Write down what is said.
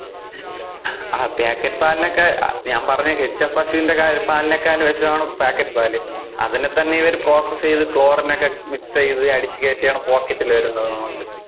ആ packet പാലിനെഒക്കെ ഞാൻ പറഞ്ഞപശൂന്‍ടെ പാലിനെകാളും വിഷമാണ് packet പാല്. അതിനെ തന്നെ ഇവര് process ചെയ്ത് chlorine ഒക്കെ mix ചെയ്ത് അടിച്ചു കേറ്റി ആണ് pocket വരുന്നത് നമുക്ക്.